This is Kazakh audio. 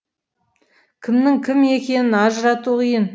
кімнің кім екенін ажырату қиын